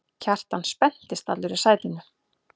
Kjartan spenntist allur í sætinu.